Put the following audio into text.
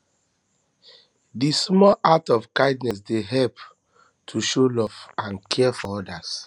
di small acts of kindness dey help to show love and care for odas